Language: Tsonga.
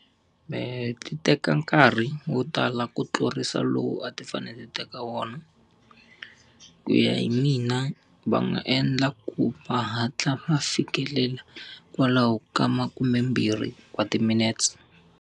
Mehe ti teka nkarhi wo tala ku tlurisa lowu a ti fanele ti teka wona. Ku ya hi mina va nga endla ku va hatla va fikelela kwalaho ka makume mbirhi wa timinetse.